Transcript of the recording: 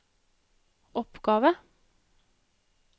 oppgave